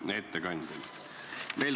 Hea ettekandja!